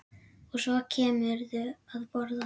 Og svo kemurðu að borða!